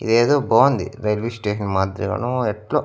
ఇదేదో బాగుంది railway station మాదిరిగానో ఏట్లో.